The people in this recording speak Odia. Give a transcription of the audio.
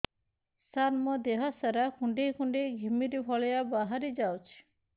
ସାର ମୋର ଦିହ ସାରା କୁଣ୍ଡେଇ କୁଣ୍ଡେଇ ଘିମିରି ଭଳିଆ ବାହାରି ଯାଉଛି